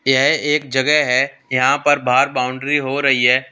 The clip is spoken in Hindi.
यह एक जगह है यहां पर बाहर बाउंड्री हो रही है।